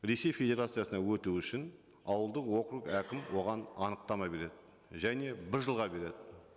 ресей федерациясына өту үшін ауылдық округ әкім оған анықтама береді және бір жылға береді